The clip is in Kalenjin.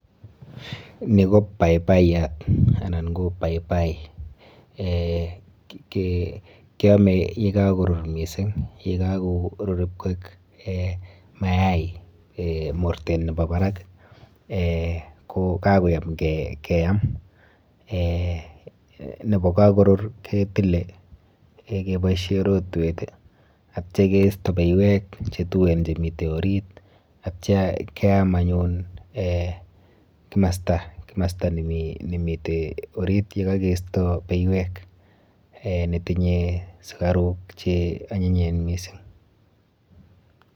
Ni ko paipayat anan ko paipai Eh Keame yekakorur mising, yekakorur ipkwek mayai mortet nepo barak ko kakoyam keam. Eh nepo kakorur ketile keboishe rotwet atya keisto beiwek chetuen chemite orit atya keam anyun eh kimasta, kimasta nemite orit yekakeisto beiwek, netinye sukaruk cheanyinyen mising.